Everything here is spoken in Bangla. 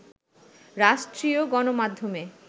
রাষ্ট্রীয় গণমাধ্যমে